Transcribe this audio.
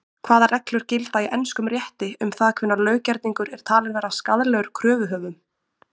Hvaða reglur gilda í enskum rétti um það hvenær löggerningur er talinn vera skaðlegur kröfuhöfum?